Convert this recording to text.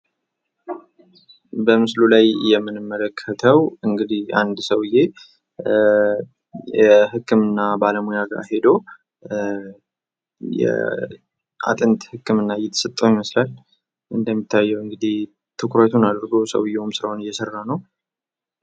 በምስሉ ላይ የምንመለከተው እንግዲህ አንድ ሰውዬ የህክምና ባለሙያ ጋር ሂዶ የአጥንት ህክምና እየተሰጠው ይመስላል ። እንደሚታየው እንግዲህ ትኩረቱን አድርጎ ሰውዬውም ስራውን እየሰራ ነው ።